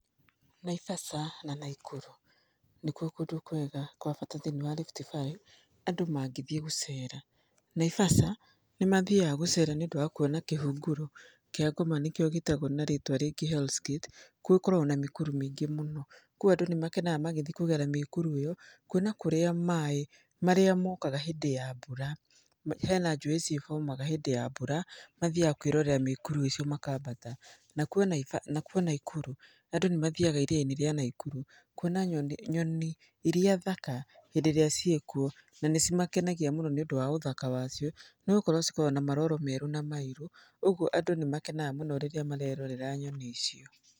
Naivasha na Naikuru nĩkuo kũndũ kwega kwa bata thĩiniĩ wa RiftValley, andũ mangĩthiĩ gũcera. Naivasha nĩmathiaga gũcera nĩũndũ wa kuona kĩhunguro kĩa ngoma nĩkĩo gĩtagwo na rĩtwa rĩngĩ Hell's Gate. Gũkoragwo na mĩkuru mĩingĩ mũno. Kuũ andũ nĩmakenaga magĩthiĩ kũgera mĩkuru ĩyo, kuona kũrĩa maĩ marĩa mokaga hĩndĩ ya mbura, hena njũĩ cihomaga hĩndĩ ya mbura, mathiaga kwĩrorera mĩkuru icio makambata. Nakuo Nai nakuo Naikuru andũ nĩmathiaga iria-inĩ rĩa Naikuru kuona nyoni nyoni iria thaka hĩndĩ ĩrĩa ciĩkuo na nĩcimakenagia mũno nĩ ũndũ wa ũthaka wacio, nĩgũkorwo cikoragwo na maroro merũ na mairũ, ũguo andũ nĩmakenaga mũno rĩrĩa marerorera nyoni icio.